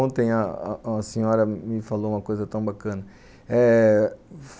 Ontem a a senhora me falou uma coisa tão bacana, eh